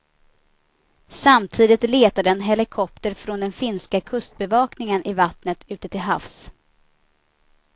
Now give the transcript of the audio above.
Samtidigt letade en helikopter från den finska kustbevakningen i vattnet ute till havs.